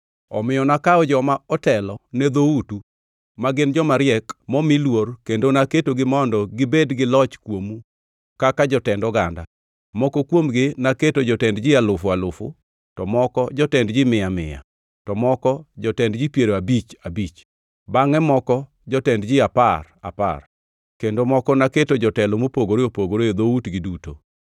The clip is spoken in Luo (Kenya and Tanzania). Omiyo nakawo joma otelo ne dhoutu, ma gin joma riek momi luor kendo naketogi mondo gibed loch kuomu kaka jotend oganda. Moko kuomgi naketo jotend ji alufu alufu, to moko jotend mia mia, to moko jotend ji piero abich abich, bangʼe moko jotend ji apar apar kendo moko naketo jotelo mopogore opogore e dhoutgi duto.